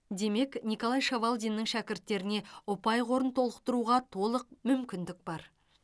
демек николай шавалдиннің шәкірттеріне ұпай қорын толықтыруға толық мүмкіндік бар